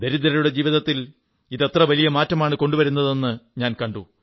ദരിദ്രരുടെ ജീവിതത്തിൽ ഇത് എത്ര വലിയ മാറ്റമാണു കൊണ്ടുവരുന്നതെന്നു ഞാൻ കണ്ടു